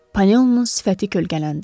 Panelonun sifəti kölgələndi.